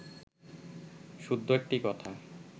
শুদ্ধ একটি কথা